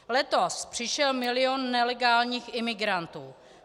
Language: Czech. Letos přišel milion nelegálních imigrantů.